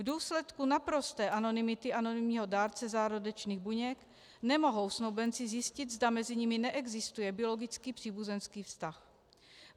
V důsledku naprosté anonymity anonymního dárce zárodečných buněk nemohou snoubenci zjistit, zda mezi nimi neexistuje biologicky příbuzenský vztah.